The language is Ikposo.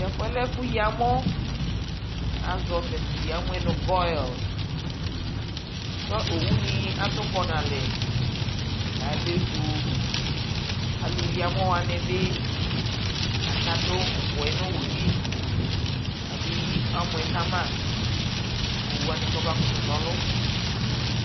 Tɛfuɛ lɛ ɛfu yi amɔ Azɔ tɛfuɛ nʋ gɔil kʋ owu ni atʋkɔ nʋ alɛ Alʋyi amɔwani akadʋ uku yɛ nʋ owu yɛ lι kʋ abeyi amɔ yɛ kama kʋ owuwani bakutu na ɔlʋ